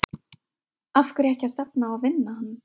Af hverju ekki að stefna á að vinna hann?